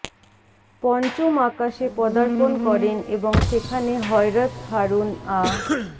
পঞ্চম আকাশে পদার্পণ করেন এবং সেখানে হযরত হারুন আ